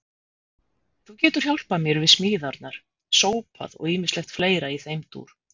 Þú getur hjálpað mér við smíðarnar, sópað og ýmislegt fleira í þeim dúr.